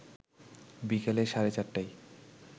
বিকেল সাড়ে ৪টায়